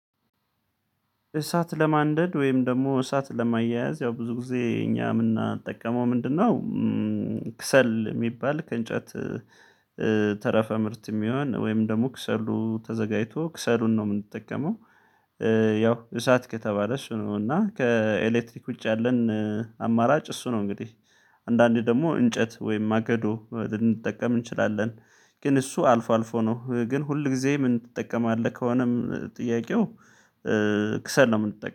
እሳት ለማንደድ ወይም ደግሞ እሳት ለማያያዝ ያው ብዙ ጊዜ እኛ የምንጠቀመው ምንድነው ክሰል የሚባል ከእንጨት ተረፈ ምርት የሚሆን ወይም ደግሞ ክሰሉ ተዘጋጅቶ ክሰሉን ነው የምንጠቀመው ያው እሳት ከተባለስ ነው እና ከኤሌክትሪክ ውጭ ያለን አማራጭ እሱ ነው እንግዲህ አንዳንዴ ደግሞ እንጨት ወይም ማገዶ ልንጠቀም እንችላለን ግን እሱ አልፎ አልፎ ነው ግን ሁል ጊዜ ምን ትጠቀማለህ ከሆነም ጥያቄው ክሰል ነው የምንጠቀመው።